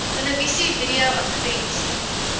televisie video advertensie